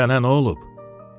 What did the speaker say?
Sənə nə olub?